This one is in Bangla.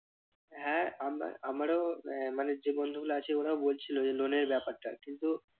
হ্যাঁ আমার আবারো আহ মানে যে বন্ধুগুলো আছে ওরাও বলছিল যে loan এর ব্যাপারটা কিন্তু